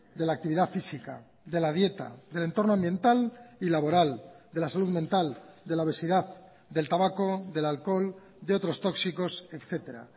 de la actividad física de la dieta del entorno ambiental y laboral de la salud mental de la obesidad del tabaco del alcohol de otros tóxicos etcétera